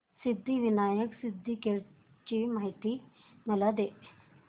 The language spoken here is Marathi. सिद्धिविनायक सिद्धटेक ची मला माहिती दे